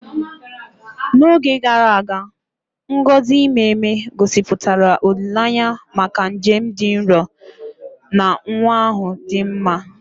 N'oge gara aga, ngọzi ime ime, gosipụtara olileanya maka njem dị nro na nwa ahụ dị mma.